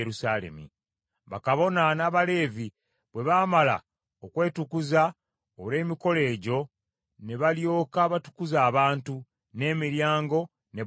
Bakabona n’Abaleevi bwe baamala okwetukuza olw’emikolo egyo, ne balyoka batukuza abantu, n’emiryango ne bbugwe.